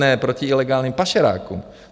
Ne - proti ilegálním pašerákům.